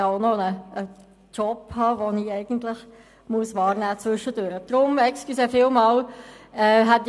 Denn ich muss zwischendurch auch noch einen anderen Job ausüben.